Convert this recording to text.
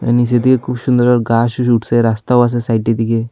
এর নীচে দিয়ে খুব সুন্দরভাবে গাস উঠসে রাস্তাও আসে সাইডের দিকে।